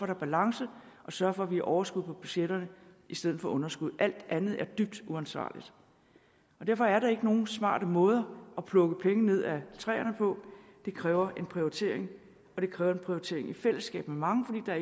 er balance og sørge for at vi har overskud på budgetterne i stedet for underskud alt andet er dybt uansvarligt derfor er der ikke nogen smarte måder at plukke penge ned af træerne på det kræver en prioritering og det kræver en prioritering i fællesskab med mange fordi der